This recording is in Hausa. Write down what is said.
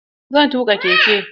Zan tuƙa keke.